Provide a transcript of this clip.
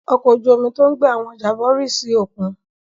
Ọkọ̀ ojú-omi tó ń gbé àwọn ọjà bọ̀ rì sí òkun?